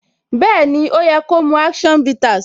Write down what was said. Bẹẹni, ó yẹ ko mu action bitters.